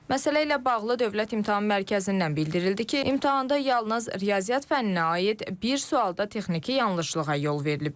Məsələ ilə bağlı Dövlət İmtahan Mərkəzindən bildirildi ki, imtahanda yalnız riyaziyyat fənninə aid bir sualda texniki yanlışlığa yol verilib.